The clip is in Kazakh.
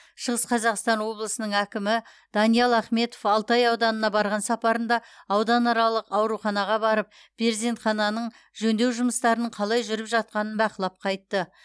шығыс қазақстан облысының әкімі даниал ахметов алтай ауданына барған сапарында ауданаралық ауруханаға барып перзентхананың жөндеу жұмыстарының қалай жүріп жатқанын бақылап қайтты